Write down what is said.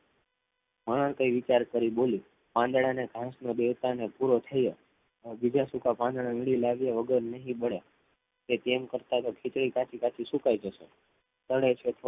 હા આવે કઈ વિચાર કરી બોલી આધડાને ઘાસ ના દેહએ પૂરો પડે અને બીજા સૂકા પાંડધા લીલી લાગ્યા વગરનાહી બડયા ખિચડી કાચી કાચી સુકાઈ જસે પણ થોધો ભોખો થો લાએ માટે